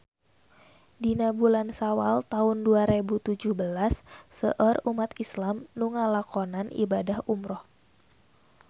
Dina bulan Sawal taun dua rebu tujuh belas seueur umat islam nu ngalakonan ibadah umrah